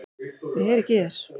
Ég heyri ekki í þér.